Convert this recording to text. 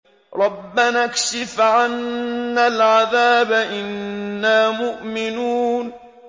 رَّبَّنَا اكْشِفْ عَنَّا الْعَذَابَ إِنَّا مُؤْمِنُونَ